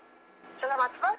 сәләмәтсіз ба